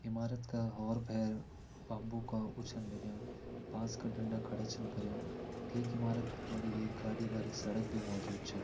ईमारत क और भेर तम्बू क ऊ छीन लाग्यां बांस का डंडा खड़ा छीन करियां ठीक ईमारत खड़ी एक गाडी सड़क भी मजूद छ।